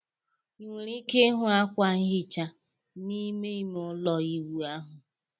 ị nwere ike ịhụ akwa nhicha n'ime ime ụlọ ịwụ ahụ